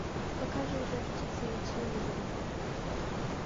покажи жар птица на телевизоре